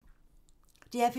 DR P2